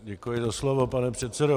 Děkuji za slovo, pane předsedo.